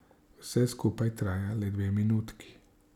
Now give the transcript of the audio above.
Vse skupaj traja le dve minutki.